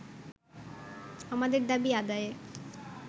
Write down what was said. আমাদের দাবি আদায়ে